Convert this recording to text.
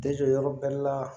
yɔrɔ bɛɛ la